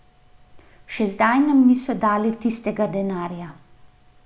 Še zdaj nam niso dali tistega denarja.